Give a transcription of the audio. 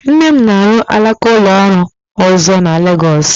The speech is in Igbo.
Nne m na-arụ alaka ụlọ ọrụ ọzọ na Legọs